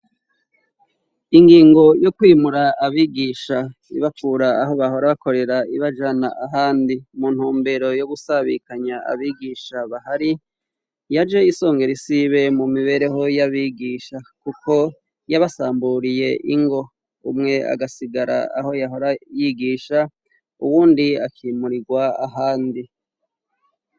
Ingingo yo kwimura abigisha ibakura aho bahora bakorera ibajana ahandi muntumbero yo gusabikanya abigisha bahari yaje isongera isibe mumibereho y'abigisha kuko yabasamburiye ingo umwe agasigara aho yahora yigisha uwundi akimurirwa ahandi.